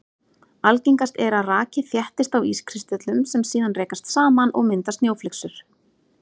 Algengast er að raki þéttist á ískristöllum sem síðan rekast saman og mynda snjóflyksur.